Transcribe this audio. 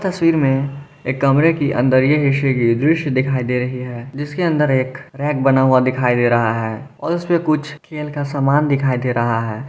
तस्वीर में एक कमरे की अंदर ये हिस्से की दृश्य दिखाई दे रही है जिसके अंदर एक रैक बना हुआ दिखाई दे रहा है और उसपे कुछ खेल का सामान दिखाई दे रहा है।